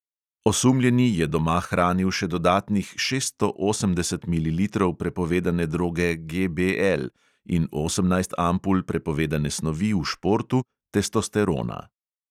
Osumljeni je doma hranil še dodatnih šeststo osemdeset mililitrov prepovedane droge GBL in osemnajst ampul prepovedane snovi v športu – testosterona.